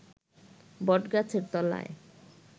বটগাছের তলায়